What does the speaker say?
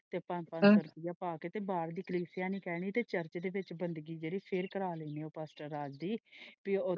ਤੇ ਪੰਜ ਪੰਜ ਸੌ ਰੁਪਈਆ ਪਾ ਕੇ ਤੇ ਨਹੀਂ ਕਹਿਣ ਗਏ ਕੀ ਚਾਰਚ ਵਿੱਚ ਬੰਦਗੀ ਫੇਰ ਕਰਾ ਲੈਣੇ ਹਾਂ ਰਾਜ ਦੀ।